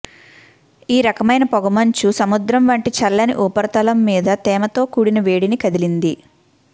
ఈ రకమైన పొగమంచు సముద్రం వంటి చల్లని ఉపరితలం మీద తేమతో కూడిన వేడిని కదిలింది